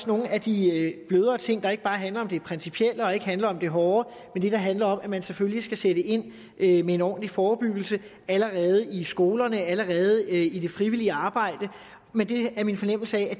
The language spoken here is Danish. nogle af de blødere ting der ikke bare handler om det principielle og ikke handler om det hårde men handler om at man selvfølgelig skal sætte ind ind med en ordentlig forebyggelse allerede i skolerne allerede i det frivillige arbejde men det er min fornemmelse at